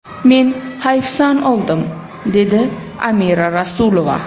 Men hayfsan oldim”, dedi Amira Rasulova.